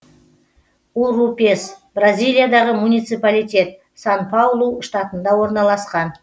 урупес бразилиядағы муниципалитет сан паулу штатында орналасқан